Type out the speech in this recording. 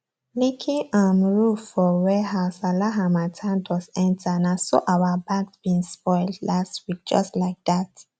leaking um roof for warehouse allow harmattan dust enterna so our bagged beans spoil last week just like that